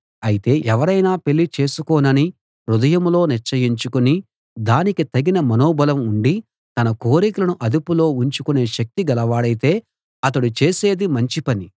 అయితే ఎవరైనా పెళ్ళి చేసుకోనని హృదయంలో నిశ్చయించుకుని దానికి తగిన మనోబలం ఉండి తన కోరికలను అదుపులో ఉంచుకునే శక్తి గలవాడయితే అతడు చేసేది మంచి పని